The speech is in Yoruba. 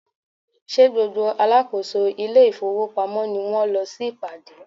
Ṣé gbogbo alákòóso ile-ifowopamo ni wón lọ sí ìpàdé?